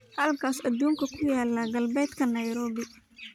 halka aduunka ku yaala galbeedka nairobi